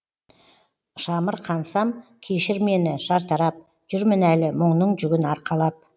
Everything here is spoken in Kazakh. шамырқансам кешір мені шартарап жүрмін әлі мұңның жүгін арқалап